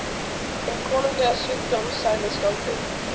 Hinn konunglega sjúkdóm, sagði skáldið.